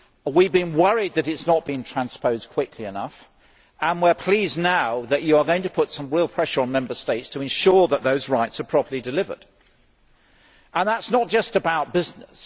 We have been worried that it has not been transposed quickly enough, and we are pleased now that you are now going to put some real pressure on the Member States to ensure that those rights are properly delivered. That is not just about business